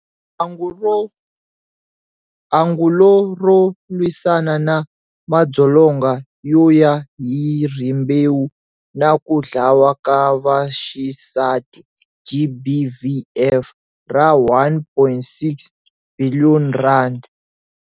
Angulo ro lwisana na madzolonga yo ya hi rimbewu na ku dlawa ka vaxisati, GBVF, ra R1.6 biliyoni.